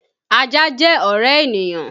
Ajá jẹ́ ọ̀rẹ́ ènìyàn